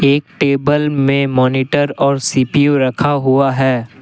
Table में monitor और C P U रखा हुआ है।